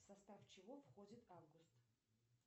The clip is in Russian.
состав чего входит август